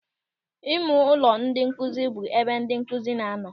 Ịmeụlọ ndị nkụzi bụ ebe ndị nkụzi na-anọ.